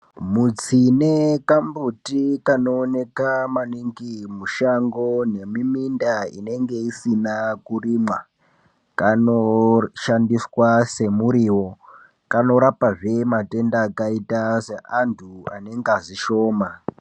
Mutsine kambuti kanooneka maningi mushango nemiminda inenge isina kurimwa, Kano shandiswa semuriwo ,kanorapa zvee antu anengazi shoma.